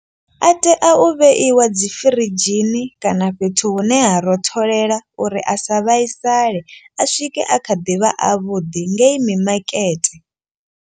A tea u vheiwa dzi firidzhini kana fhethu hune ha rotholela uri a sa vhaisale. A swike a kha ḓi vha avhuḓi ngei mimakete.